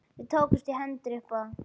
Við tókumst í hendur upp á það.